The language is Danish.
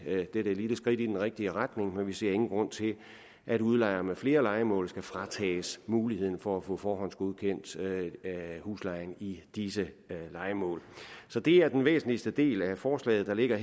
dette lille skridt i den rigtige retning men vi ser ingen grund til at udlejere med flere lejemål skal fratages muligheden for at få forhåndsgodkendt huslejen i disse lejemål så det er den væsentligste del af forslaget der ligger